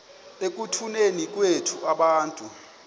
ekutuneni kwethu abantu